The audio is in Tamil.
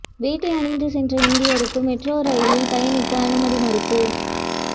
வேட்டி அணிந்து சென்ற இந்தியருக்கு மெட்ரோ ரெயிலில் பயணிக்க அனுமதி மறுப்பு